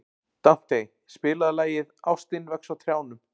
Dante, spilaðu lagið „Ástin vex á trjánum“.